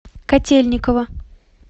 котельниково